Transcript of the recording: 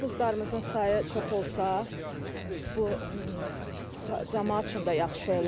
Avtobuslarımızın sayı çox olsa, bu camaat üçün də yaxşı olar.